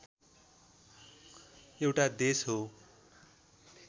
एउटा देश हो